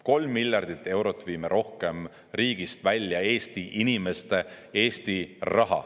Kolm miljardit eurot viime rohkem riigist välja Eesti inimeste, Eesti raha.